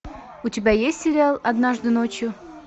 у тебя есть сериал однажды ночью